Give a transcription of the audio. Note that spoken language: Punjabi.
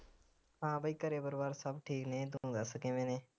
ਹਾਂ ਬਈ ਘਰੇ ਪਰਿਵਾਰ ਸਭ ਠੀਕ ਨੇ ਤੂੰ ਦੱਸ ਕਿਵੇਂ ਨੇ